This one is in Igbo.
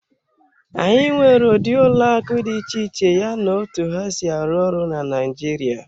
Anyị nwere ụdị ụlọ akụ dị iche iche yana otu ha si arụ ọrụ na Naịjirịa.